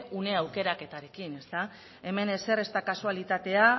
une aukeraketarekin hemen ezer ez da kasualitatea